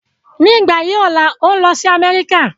Ní ìgbà yí ọ̀la ń o lọ sí Amẹ́ríkà